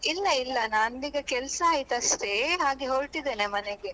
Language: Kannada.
ಇಲ್ಲ ಇಲ್ಲ ನಂದ್ ಈಗ ಕೆಲಸ ಆಯ್ತಷ್ಟೇ ಹಾಗೆ ಹೊರಟಿದ್ದೇನೆ ಮನೆಗೆ.